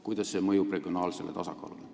Kuidas see mõjub regionaalsele tasakaalule?